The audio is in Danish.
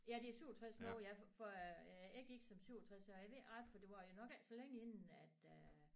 Ja det er 67 nu ja for jeg gik som 67 og jeg ved ikke det var nok ikke så længe inden at øh